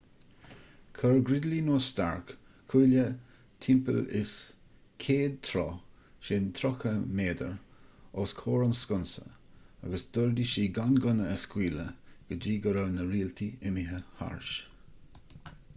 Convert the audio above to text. chuir gridley nó stark cuaille timpeall is 100 troith 30 m os comhair an sconsa agus d'ordaigh siad gan gunna a scaoileadh go dtí go raibh na rialtaigh imithe thairis